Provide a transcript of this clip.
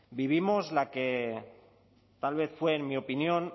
vivimos la que tal vez fue en mi opinión